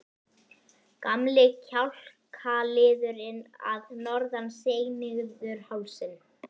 Gamli kjálkaliðurinn að norðan seig niður hálsinn.